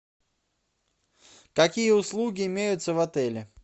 какие услуги имеются в отеле